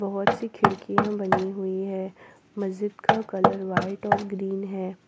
बहुत सी खिड़कियां बनी हुई है मस्जिद का कलर व्हाइट और ग्रीन है।